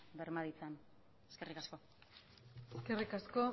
berma ditzan eskerrik asko eskerrik asko